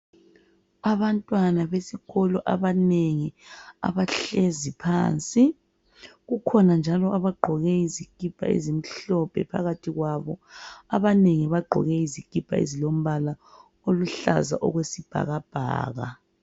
Abantwana besikolo abanengi abahlezi phansi kukhona njalo abagqoke izikipa ezimhlophe phakathi kwabo abanengi bagqoke izikipa ezilombala oyisibhakabhaka